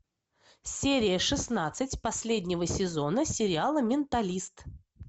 серия шестнадцать последнего сезона сериала менталист